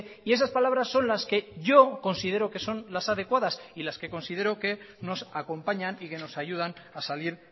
y esas palabras son las que yo considero que son las adecuadas y las que considero que nos acompañan y que nos ayudan a salir